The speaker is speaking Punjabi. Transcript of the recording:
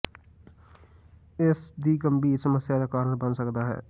ਐੱਸ ਦੀ ਗੰਭੀਰ ਸਮੱਸਿਆ ਦਾ ਕਾਰਨ ਬਣ ਸਕਦਾ ਹੈ